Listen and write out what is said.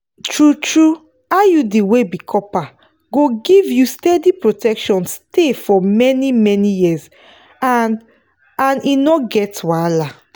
true-true iud wey be copper go give you steady protection stay for many-many years and and e no get wahala.